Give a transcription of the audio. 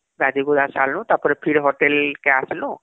ଗାଧେଇ ଗୁଧାଁ ସାରଲୁ , ତାପରେ ଫିର ହୋଟେଲ କେ ଆସଲୁ